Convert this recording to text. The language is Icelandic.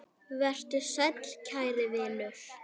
Vertu sæll, kæri vinur.